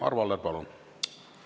Arvo Aller, palun!